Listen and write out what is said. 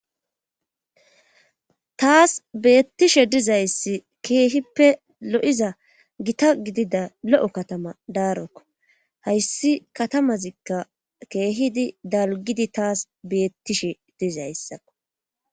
Tas beetishe dizayssi keehippe lo'iza gita gidida lo'o katama darokko hayssi katamazikka keehidi dalgidi tas beetishe dizayssa .